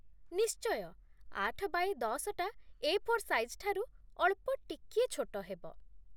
ନିଶ୍ଚୟ, ଆଠ ବାୟେ ଦଶ ଟା 'ଏ ଫୋର୍ ସାଇଜ୍' ଠାରୁ ଅଳ୍ପ ଟିକିଏ ଛୋଟ ହେବ ।